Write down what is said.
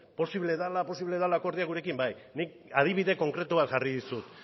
posible dela akordioa gurekin bai nik adibide konkretu bat jarri dizut